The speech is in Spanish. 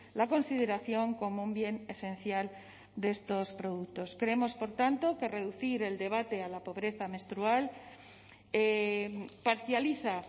la consideración como un bien esencial de estos productos creemos por tanto que reducir el debate a la pobreza menstrual parcializa